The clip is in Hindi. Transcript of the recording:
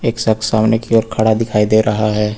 एक शख्स सामने की ओर खड़ा दिखाई दे रहा है।